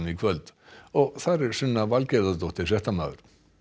kvöld þar er Sunna fréttamaður